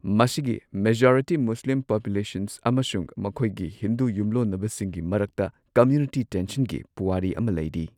ꯃꯁꯤꯒꯤ majority Muslim population ꯑꯃꯁꯨꯡ ꯃꯈꯣꯏꯒꯤ ꯍꯤꯟꯗꯨ ꯌꯨꯝꯂꯣꯟꯅꯕꯁꯤꯡꯒꯤ ꯃꯔꯛꯇ ꯀꯝꯃ꯭ꯌꯨꯅꯤꯇꯤ ꯇꯦꯟꯁꯟꯒꯤ ꯄꯨꯋꯥꯔꯤ ꯑꯃ ꯂꯩꯔꯤ꯫